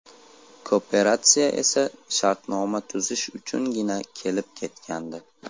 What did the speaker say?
Kooperatsiya esa shartnoma tuzish uchungina kelib ketgandi.